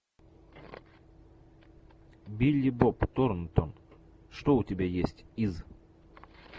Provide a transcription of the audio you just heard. билли боб торнтон что у тебя есть из